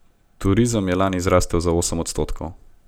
Turizem je lani zrasel za osem odstotkov.